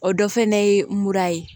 O dɔ fana ye mura ye